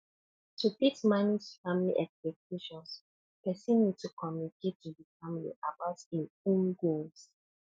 to fit manage family expectations person need to communicate to di family about im own goals